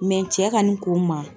cɛ ka nin ko ma.